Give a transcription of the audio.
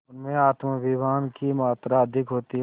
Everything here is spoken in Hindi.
उनमें आत्माभिमान की मात्रा अधिक होती है